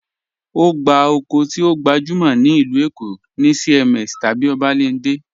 Ogbá okó ti o gbajúmọ̀ ní ilú Èkó̀ ni CMS tabí Obalende.